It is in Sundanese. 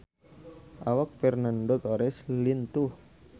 Awak Fernando Torres lintuh